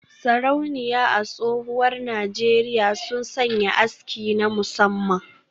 Sarauniya a tsohuwar Najeriya sun sanya aski na musamman